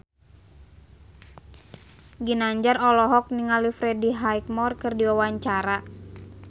Ginanjar olohok ningali Freddie Highmore keur diwawancara